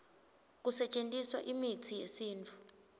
kusetjentiswa imitsi yesintfu